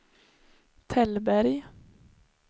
Tällberg